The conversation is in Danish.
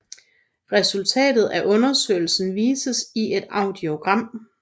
Resultatet af undersøgelsen vises i et audiogram